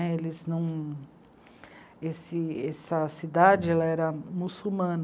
Eles não. Essa cidade era muçulmana.